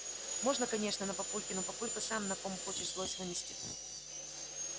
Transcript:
можно конечно на папульке но папулька сам на ком хочешь злость выместит